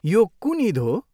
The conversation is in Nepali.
यो कुन इद हो?